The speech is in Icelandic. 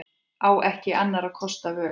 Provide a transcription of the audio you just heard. Á ekki annarra kosta völ.